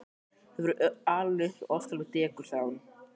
Þú hefur verið alinn upp við óskaplegt dekur sagði hún.